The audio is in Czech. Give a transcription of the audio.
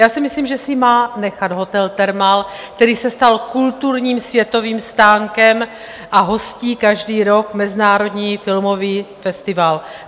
Já si myslím, že si má nechat hotel Thermal, který se stal kulturním světovým stánkem a hostí každý rok Mezinárodní filmový festival.